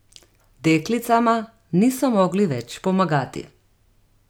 Deklicama niso mogli več pomagati.